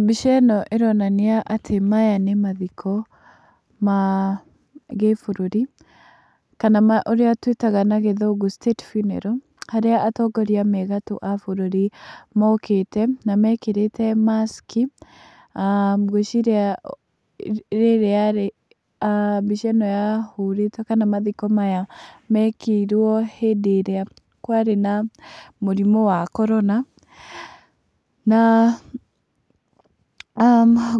Mbica ĩno ĩronania atĩ maya nĩ mathiko ma gĩbũrũri kana marĩa twĩtaga na gĩthũngũ state funeral. Harĩa atongoria me gatũ a bũrũri mokĩĩte. Na mekĩrĩte mask. Ngwĩciria mbica ino yahũrĩtwo, kana mathiko maya mekĩirwo hĩndĩ ĩrĩa kwarĩ na mũrimũ wa korona, na